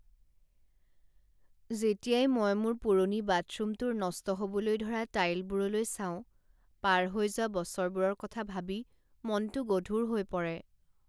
যেতিয়াই মই মোৰ পুৰণি বাথৰুমটোৰ নষ্ট হ'বলৈ ধৰা টাইলবোৰলৈ চাওঁ, পাৰ হৈ যোৱা বছৰবোৰৰ কথা ভাবি মনটো গধুৰ হৈ পৰে।